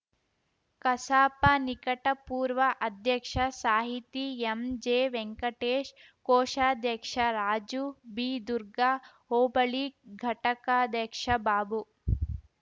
ಕಸಾಪ ನಿಕಟಪೂರ್ವ ಅಧ್ಯಕ್ಷ ಸಾಹಿತಿ ಎಂಜೆವೆಂಕಟೇಶ್‌ ಕೋಷಾಧ್ಯಕ್ಷ ರಾಜು ಬಿದುರ್ಗ ಹೋಬಳಿ ಘಟಕಾಧ್ಯಕ್ಷ ಬಾಬು